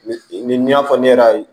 Ni ni y'a fɔ ne yɛrɛ ye